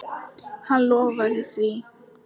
Hann lofaði því.